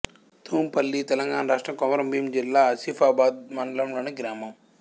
తుంపల్లి తెలంగాణ రాష్ట్రం కొమరంభీం జిల్లా ఆసిఫాబాద్ మండలంలోని గ్రామం